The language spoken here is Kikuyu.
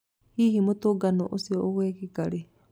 Hihi mũtũngano ũcio ũgekeka rĩ?